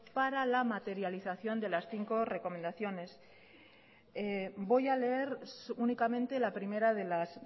para la materialización de las cincos recomendaciones voy a leer únicamente la primera de las